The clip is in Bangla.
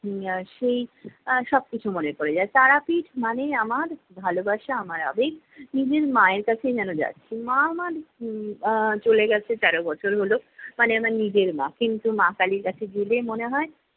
সেই আহ সবকিছু মনে পড়ে যায়। তারাপীঠ মানেই আমার ভালোবাসা আমার আবেগ। নিজের মায়ের কাছেই যেন যাচ্ছি, মা আমার উহ আহ চলে গেছে তেরো বছর হলো। মানে আমার নিজের মা, কিন্তু মা কালীর কাছে গেলে মনে হয়